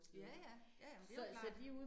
Ja ja, ja ja, men det jo klart